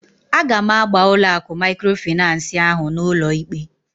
Aga m agba ụlọ akụ maịkrofịnansị ahụ n'ụlọ ikpe